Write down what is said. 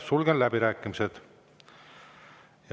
Sulgen läbirääkimised.